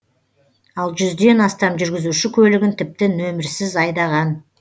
ал жүзден астам жүргізуші көлігін тіпті нөмірсіз айдаған